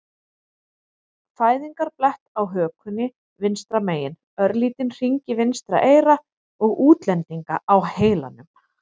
an fæðingarblett á hökunni vinstra megin, örlítinn hring í vinstra eyra og útlendinga á heilanum.